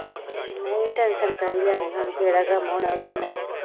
ਨਹੀਂ ਟੈਨਸ਼ਨ ਕਾਦੀ ਲੈਣੀ ਹੁਣ ਜੇਹੜਾ ਕਮ ਹੋਣਾ ਉਹ ਤੇ ਹੋਣਾ ਹੀ ਆ